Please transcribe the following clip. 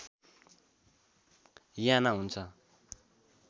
याना हुन्छ